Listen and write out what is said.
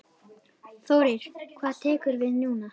Þórir: Hvað tekur við núna?